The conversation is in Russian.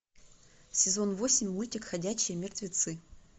сезон восемь мультик ходячие мертвецы